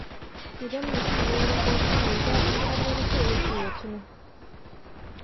Idan mutum ya yi mafarki mai daɗi har wani so yake ya tuno.